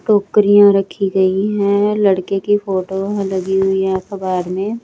टोकरीयां रखी गई है लड़के की फोटो लगी हुई है अखबार मे।